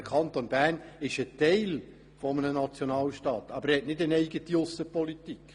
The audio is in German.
Der Kanton Bern ist Teil eines Nationalstaats, er hat jedoch keine eigene Aussenpolitik.